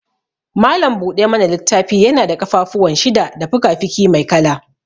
Malam buɗa mana littafi yana da ƙafafuwan shida da fikafiki mai kala.